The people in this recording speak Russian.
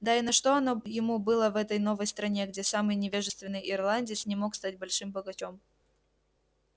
да и на что оно ему было в этой новой стране где самый невежественный ирландец не мог стать большим богачом